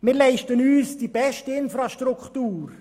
Wir leisten uns die beste Infrastruktur.